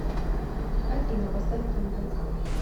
афина поставь кингдом кам